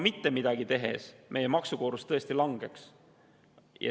Mitte midagi tehes meie maksukoormus tõesti langeks.